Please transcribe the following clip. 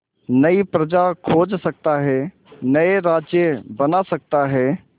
नई प्रजा खोज सकता है नए राज्य बना सकता है